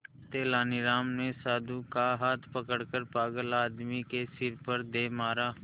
तेनालीराम ने साधु का हाथ पकड़कर पागल आदमी के सिर पर दे मारा